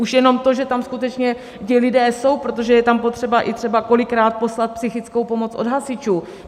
Už jenom to, že tam skutečně ti lidé jsou, protože je tam potřeba, i třeba kolikrát, poslat psychickou pomoc od hasičů.